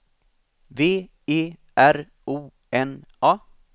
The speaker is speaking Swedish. V E R O N A